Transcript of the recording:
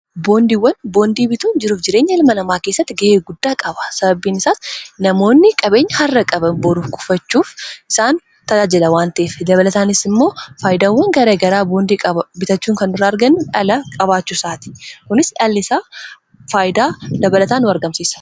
Boondiiwwan bituun jiruuf jireenya ilma lamaa keessatti ga'ee guddaa qaba sababiin isaas namoonni qabeenya har'a-qaba boru kufachuuf isaan taaajila waantiif dabalataanis immoo faayidaawwan garae garaa boondii bitachuu kan duraa arga dhala qabaachu isaati kunis dhall isaa faayidaa dabalataan nu argamsiisa.